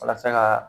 Walasa ka